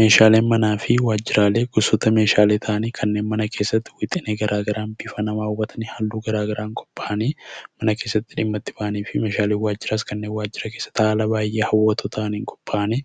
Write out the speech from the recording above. Meeshaalee manaa fi waajiraalee gosoota Meeshaalee ta'anii kanneen mana keessatti wixinee bifa nama hawwataniin halluu garaagaraa mana keessatti dhimma itti bahanii fi Meeshaalee waajiraas kanneen waajira keessa taa'anii bifa baayyee hawwatoo ta'aniin qophaa'anii